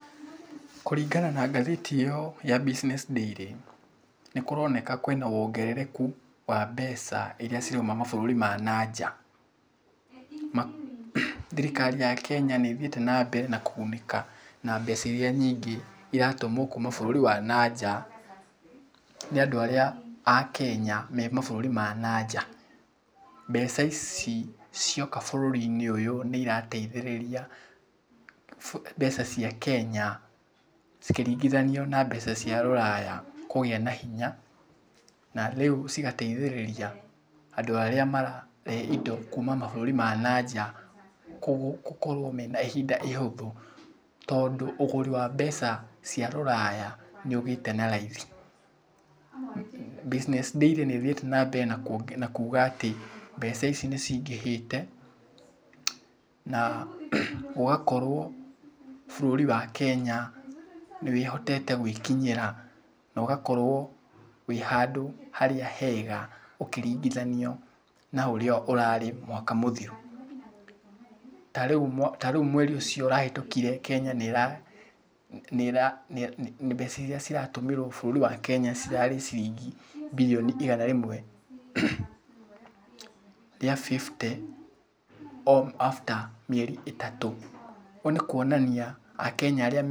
Kũringana na ngathĩti ĩyo ya Business Daily, nĩ kũronekana kwĩna wongerereku wa mbeca irĩa ciroima mabũrũri ma na nja. Thirikari ya Kenya nĩ ĩthiĩte na mbere na kũgunĩka na mbeca irĩa nyingĩ iratũmwo kuuma bũrũri ma na nja nĩ andũ arĩa a Kenya me mabũrũri ma na nja. Mbeca ici cioka bũrũrinĩ ũyũ nĩ irateithĩrĩria mbeca cia Kenya cikĩringithanio na mbeca cia rũraya kũgĩa na hinya. Na rĩu cigateithĩrĩria andũ arĩa mararehe indo kuma mabũrũri ma na nja gũkorwo mena ihinda ihũthũ. Tondũ ũgũri wa mbeca cia rũraya nĩ ũgĩte na raithi. Business Daily nĩ ĩthiĩte na mbere na kuuga atĩ mbeca ici nĩ ciingĩhĩte na gũgakorwo bũrũri wa Kenya nĩ wĩhotete gwĩkinyĩra, na ũgakorwo wĩ handü harĩa hega ũkĩringithanio na ũrĩa ũrarĩ mwaka mũthiru. Ta rĩu mweri ũcio ũrahĩtũkire Kenya nĩ ĩra mbeca irĩa ciratũmĩrwo bũrũri wa Kenya cirarĩ ciringi birioni igana rĩmwe rĩa fifty after mĩeri ĩtatũ. Ũguo nĩ kuonania akenya arĩa me...